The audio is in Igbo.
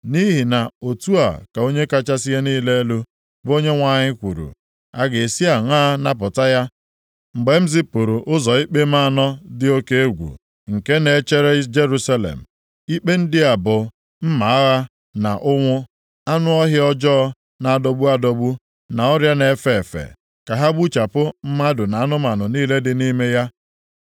“Nʼihi na otu a ka Onye kachasị ihe niile elu, bụ Onyenwe anyị kwuru, a ga-esi aṅaa napụta ya, mgbe m zipụrụ ụzọ ikpe m anọ dị oke egwu nke na-echere Jerusalem. Ikpe ndị a bụ: mma agha na ụnwụ, anụ ọhịa ọjọọ na-adọgbu adọgbu na ọrịa na-efe efe, ka ha gbuchapụ mmadụ na anụmanụ niile dị nʼime ya.